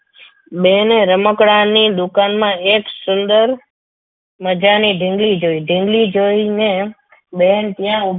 બેને રમકડાની દુકાનમાં એક સુંદર મજાની ઢીંગલી જોઈ ઢીંગલી જોઈને બેન ત્યાં ઉભી